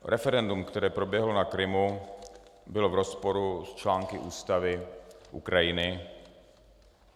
Referendum, které proběhlo na Krymu, bylo v rozporu s články ústavy Ukrajiny.